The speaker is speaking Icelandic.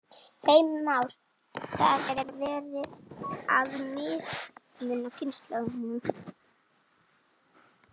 Heimir Már: Það er verið að mismuna kynslóðunum?